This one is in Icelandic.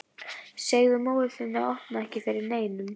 Segðu móður þinni að opna ekki fyrir neinum.